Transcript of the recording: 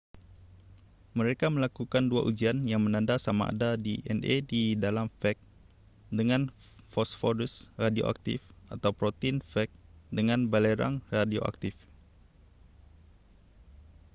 mereka melakukan dua ujian yang menanda sama ada dna di dalam fag dengan fosforus radioaktif atau protein fag dengan belerang radioaktif